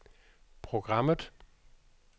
programmet